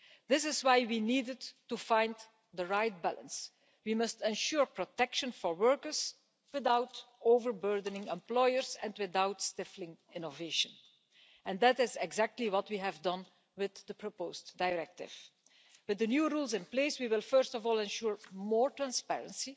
This is why we needed to find the right balance. We must ensure protection for workers without overburdening employers and without stifling innovation, and that is exactly what we have done with the proposed directive. With the new rules in place we will first of all ensure more transparency.